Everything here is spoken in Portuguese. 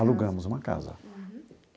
Alugamos uma casa. Uhum.